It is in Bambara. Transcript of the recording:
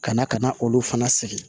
Ka na ka na olu fana sigi